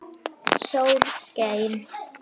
Sól skein.